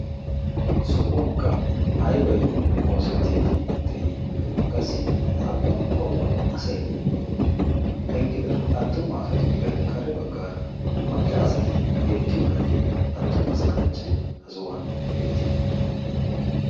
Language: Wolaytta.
sohuwankka aybay oosettiiddi de'ii qassi appungomo asayidii eqqida attumu asatuppe kare baggaara macca asati beettiyoo naayye attumasa kanchchee ha sohuwan beettii